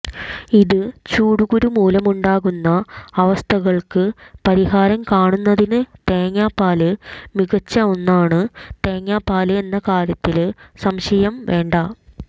ഇത് ചൂടുകുരു മൂലമുണ്ടാവുന്ന അവസ്ഥകള്ക്ക് പരിഹാരം കാണുന്നതിന് തേങ്ങാപ്പാല് മികച്ച ഒന്നാണ് തേങ്ങാപ്പാല് എന്ന കാര്യത്തില് സംശയം വേണ്ട